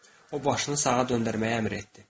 O başını sağa döndərməyə əmr etdi.